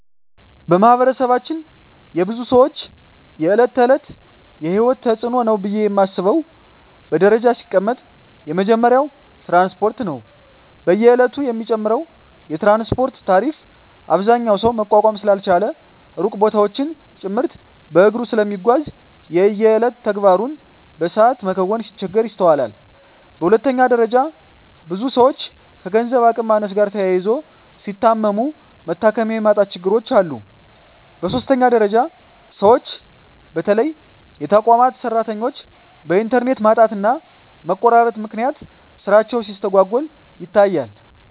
በማህበረሰባችን የብዙ ሰወች የእለት ተእለት የሂወት ተጽኖ ነው ብየ ማስበው በደረጃ ሲቀመጥ የመጀመሪያው ትራንስፓርት ነው። በየእለቱ የሚጨምረው የትራንስፓርት ታሪፍ አብዛኛው ሰው መቋቋም ስላልቻለ ሩቅ ቦታወችን ጭምርት በእግሩ ስለሚጓዝ የየእለት ተግባሩን በሰአት መከወን ሲቸገር ይስተዋላል። በሁለተኛ ደረጃ ብዙ ሰወች ከገንዘብ አቅም ማነስ ጋር ተያይዞ ሲታመሙ መታከሚያ የማጣት ችግሮች አሉ። በሶስተኛ ደረጃ ሰወች በተለይ የተቋማት ሰራተኞች በእንተርኔት ማጣትና መቆራረጥ ምክንያት ስራቸው ሲስተጓጎል ይታያል።